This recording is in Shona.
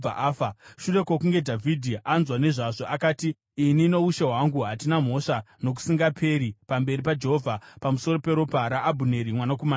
Shure kwokunge Dhavhidhi anzwa nezvazvo, akati, “Ini noushe hwangu hatina mhosva nokusingaperi pamberi paJehovha pamusoro peropa raAbhuneri mwanakomana waNeri.